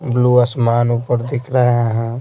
Blue आसमान ऊपर दिख रहे हैं।